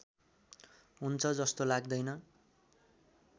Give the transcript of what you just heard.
हुन्छ जस्तो लाग्दैन